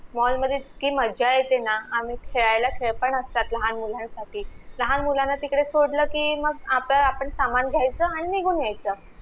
mall मधे इतकी मज्जा येते ना आम्ही खेळायला खेळ पण असतात लहान मुलांसाठी, लहान मुलांना तिकडे सोडलं कि मग आपलं अपान सामान घेयचा आणि निघून येयच